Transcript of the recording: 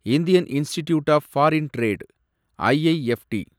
Indian Institute of Foreign Trade , IIFT